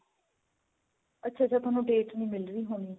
ਅੱਛਾ ਅੱਛਾ ਤੁਹਾਨੂੰ date ਨੀ ਮਿਲ ਰਹੀ ਹੋਣੀ